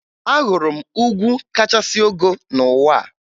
Ahụrụ m ugwu kachasị ogo n'ụwa a